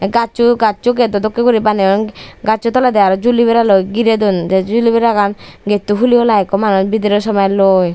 gajcho gajcho gedo dokke guri baneyon gajcho toledi arow juliberaloi giredon te juliberagan gete to hulihulai ikko manuj bidire somelloi.